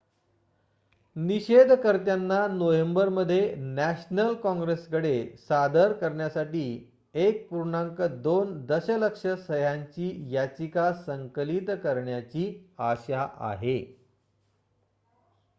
निषेधकर्त्यांना नोव्हेंबरमध्ये नॅशनल कॉंग्रेसकडे सादर करण्यासाठी 1.2 दशलक्ष सह्यांची याचिका संकलित करण्याची आशा आहे